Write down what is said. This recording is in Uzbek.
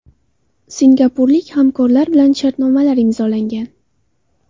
Singapurlik hamkorlar bilan shartnomalar imzolangan.